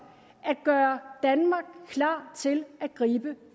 at gøre danmark klar til at gribe